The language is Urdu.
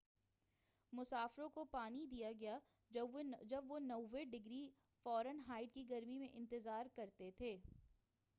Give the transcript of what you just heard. مسافروں کو پانی دیا گیا جب وہ 90 ڈگری فارن ہائیٹ کی گرمی میں انتظار کرتے تھے